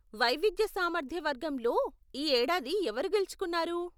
వైవిధ్య సామర్థ్య వర్గంలో ఈ ఏడాది ఎవరు గెలుచుకున్నారు?